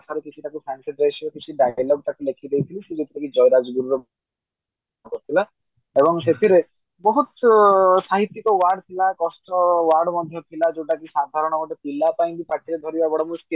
ଭାଷାରେ କିଛି ଟାକୁ fancy dress ରେ କିଛି ଲେଖିକି ଦେଇଥିଲି ସେ ସେଠୀ ଜୟୀ ରାଜଗୁରୁ ର କରିଥିଲା ଏବଂ ସେଥିରେ ବହୁତ ସାହିତ୍ୟିକ word ଥିଲା କଷ୍ଟ word ମଧ୍ୟ ଥିଲା ଯୋଉଟା କି ସାଧରାନ ଗୋଟେ ପିଲା ପାଇଁ ପାଟିରେ ଧରିବା ବା ବଡ ମୁସ୍କିଲ